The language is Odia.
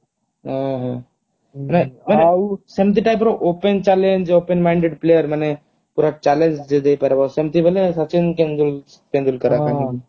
ଓଃ ହୋ ନା ଆଉ ସେମିତି type ର open challenge open minded player ମାନେ ପୁରା challenge ଯିଏ ଦେଇ ପାରିବ ସେମିତି ବୋଲେ ସଚିନ ତେନ୍ଦୁଲ ତେନ୍ଦୁଲକର